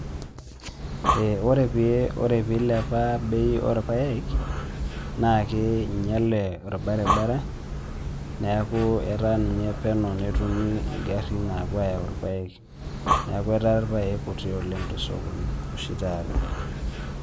Eh ore piilepa bei orpaek naakee einyale orbaribara neakuu etaa ninye peno netumi ingarrin naapuo ayau irpaek neaku etas irpaek kuti oleng' tosokoni oshi taata.